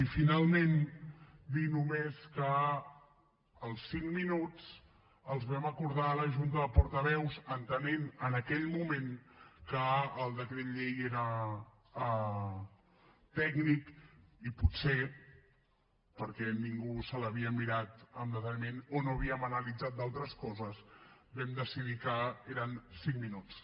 i finalment dir només que els cinc minuts els vam acordar a la junta de portaveus entenent en aquell moment que el decret llei era tècnic i potser perquè ningú se l’havia mirat amb deteniment o no havíem analitzat d’altres coses vam decidir que eren cinc minuts